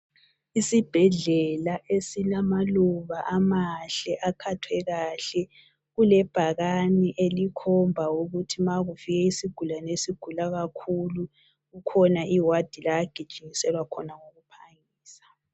Isibhedlela esilamaluba amahle akhathwe kahle kulebhakani elikhomba ukuthi ma ukufika isigulani esigula kakhulu kukhona iwadi la agijinyiselwa khona ngokuphangisa.